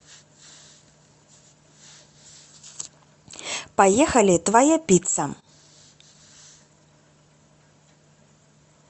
поехали твоя пицца